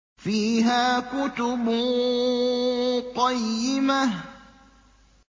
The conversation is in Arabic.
فِيهَا كُتُبٌ قَيِّمَةٌ